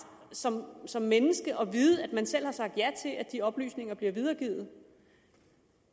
som som menneske at vide at man selv har sagt ja til at de oplysninger bliver videregivet